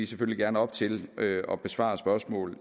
selvfølgelig gerne op til at besvare spørgsmål